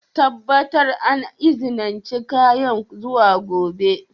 Tabbatar an izinice kayan zuwa gobe!